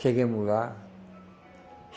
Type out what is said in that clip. Chegamos lá.